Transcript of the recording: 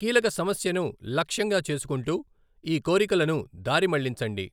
కీలక సమస్యను లక్ష్యంగా చేసుకుంటూ ఈ కోరికలను దారి మళ్లించండి.